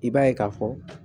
I b'a ye ka fɔ